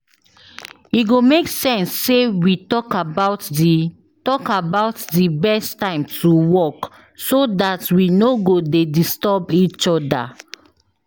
E go make sense sey we talk about di talk about di best time to work, so dat we no go dey disturb each other.